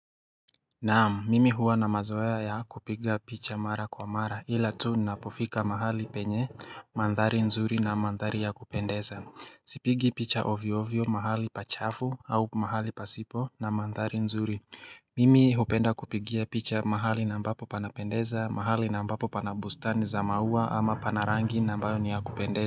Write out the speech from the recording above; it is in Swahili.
Naam, mimi huwa na mazoea ya kupiga picha mara kwa mara ila tu ninapofika mahali penye mandhari nzuri na mandhari ya kupendeza. Sipigi picha ovyo ovyo mahali pa chafu au mahali pasipo na mandhari nzuri. Mimi hupenda kupigia picha mahali na ambapo panapendeza mahali na ambapo pana bustani za maua ama pana rangi na ambayo ni ya kupendeza.